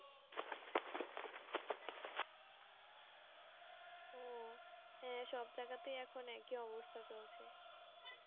ও হ্যাঁ সব জায়গাতেই এখন একই অবস্থা চলছে,